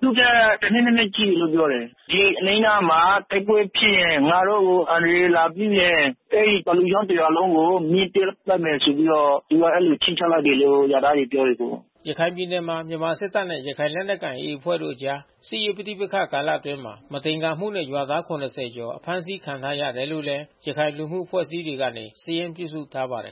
သူ့ထက် တနှစ်၊ နှစ်နှစ်ကြီးတယ်လို့ ပြောတယ်။ ဒီအနီးမနားမှာ တိုက်ပွဲဖြစ်ရင် ငါတို့ကို အန္တရာယ်လာပြုရင် အဲဒီသလူချောင်း တရွာလုံးကို မီးရှို့သတ်မယ်ဆိုပြီးတော့ သူတို့ကအဲဒီလို ခြိမ်းခြောက်လိုက်တယ်လို့ ရွာသားတွေပြောတယ်။” ရခိုင်ပြည်နယ်မှာ မြန်မာစစ်တပ်နဲ့ ရခိုင်လက်နက်ကိုင် AA အဖွဲ့တို့ အကြားစစ်ရေး ပဋိပက္ခ ကာလအတွင်း မသင်္ကာမှုနဲ့ ရွာသား ၇၀ ကျော် အဖမ်းဆီးခံထားရတယ်လို့လည်း ရခိုင်လူမှုအဖွဲ့အစည်းတွေကနေ စာရင်းပြုစုထားပါတယ်